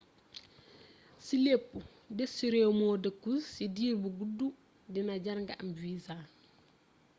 ci lépp dés ci rééw moo deekkul ci diir bu guddu dina jar nga am visa